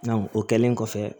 o kɛlen kɔfɛ